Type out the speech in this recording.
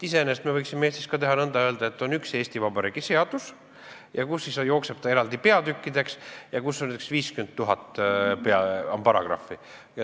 Iseenesest me võiksime Eestis ka nõnda teha ja öelda, et on üks Eesti Vabariigi seadus, mis jookseb eraldi peatükkideks ja kus on 50 000 paragrahvi.